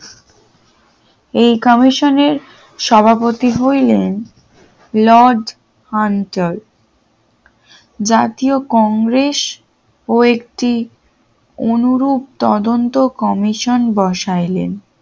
এই কমিশনের সভাপতি হইলেন লজ অঞ্চল জাতীয় কংগ্রেস ও একটি অনুরূপ তদন্ত কমিশন বসাইলেন